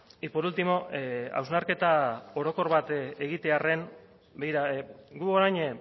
y por último hausnarketa orokor bat egitearren begira gu orain